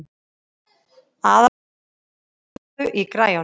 Aðalsteina, lækkaðu í græjunum.